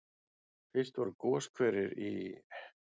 Fyrst voru goshverir í